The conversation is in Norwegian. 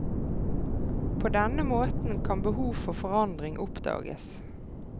På denne måten kan behov for forandring oppdages.